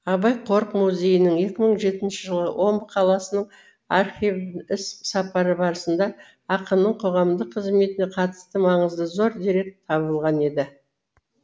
абай қорық музейінің екі мың жетінші жылы омбы қаласының архивіне іс сапары барысында ақынның қоғамдық қызметіне қатысты маңызы зор дерек табылған еді